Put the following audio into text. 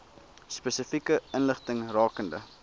spesifieke inligting rakende